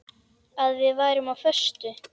Að við værum á föstu.